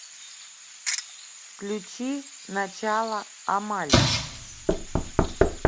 включи начало амаль